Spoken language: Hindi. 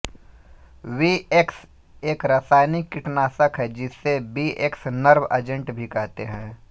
वीएक्स एक रासायनिक कीटनाशक है जिसे वीएक्स नर्व एजेंट भी कहते हैं